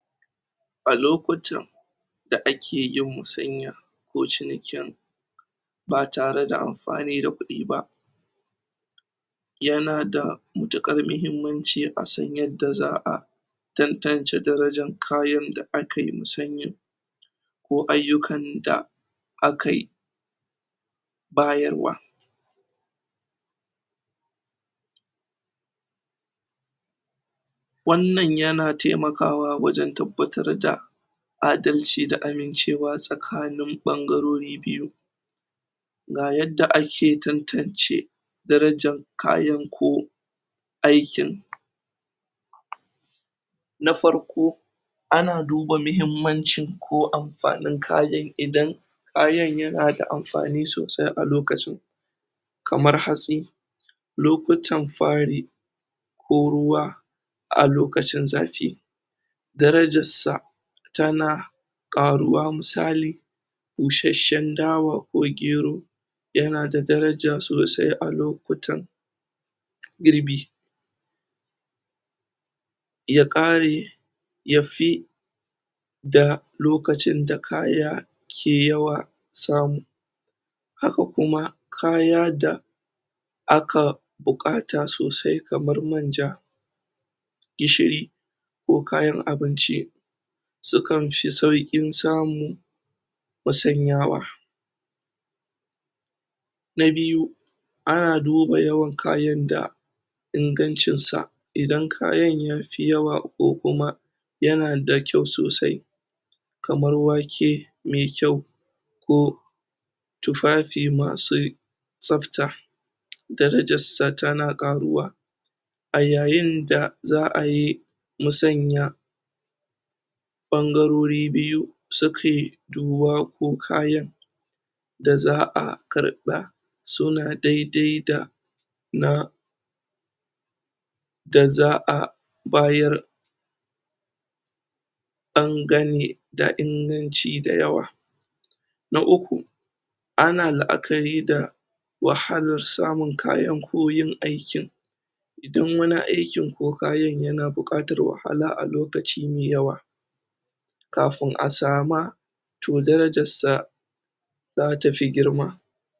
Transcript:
A lokutan da ake yin masanyako cinikin ba tare da amfani da kudi ba ya na da matukar mahimmanci a san yadda za'a tantance daraja kayan da aka yi musanyan ko ayukanin da akayi bayarwa wannan ya na temakawa wajen tabbatar da adalci da amincewa tsakanin bangarori biyu ga ya yadda ake tantance darajan kayan ko aikin Na farko ana duba mahimmanci ko amfanin kayan idan kayan ya na da amfani sosai a lokacin kamar hatsi lokutan fari ko ruwa a lokacin zafi daraja sa ta na karuwa musali busheshen dawa ko gero ya na da daraja sosai a lokutan girbi ya kare ya fi da lokacin da kaya ke yawa samu. Haka kuma kaya da a ka bukata sosai kamar manja gishiri ko kayan abinci su kan fi saukin samu masanyawa. Na biyu, a na duba yawan kayan da ingancin sa, idan kayan ya fi yawa ko kuma ya na da kyau sosai kamar wake me kyau ko tufafi masu sabta. Darajar satana ga ruwa a yayin da za'a yi musanya bangarori biyu su ke duba ko kayan da za'a karba su na daidai da na da za'a bayar dangane da inganci dayawa. Na uku ana la'akari da wahalar samun kayan ko yin aikin dun wani aikin ko kayan yana bukatar wahala a lokaci me yawa kafun a sama toh darajar sa za ta fi girma.